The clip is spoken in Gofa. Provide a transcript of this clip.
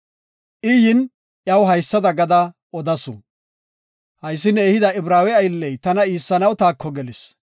I yin, iyaw haysada gada odasu; “Haysi ne ehida Ibraawe aylley tana iissanaw taako gelis.